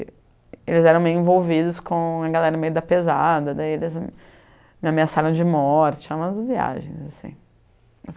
E eles eram meio envolvidos com a galera meio da pesada, daí eles me ameaçaram de morte, eram umas viagens, assim.